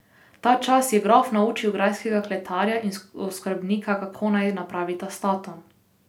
Tačas je grof naučil grajskega kletarja in oskrbnika, kako naj napravita s tatom.